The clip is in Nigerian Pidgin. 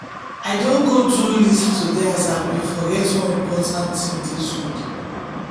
i don go do list today as i been forget one important thing this week.